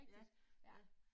Ja, ja